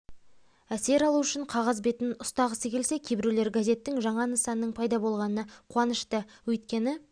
әсер алу үшін қағаз бетін ұстағысы келсе кейбіреулер газеттің жаңа нысанының пайда болғанына қуанышты өйткені